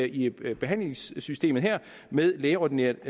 i behandlingssystemet med lægeordineret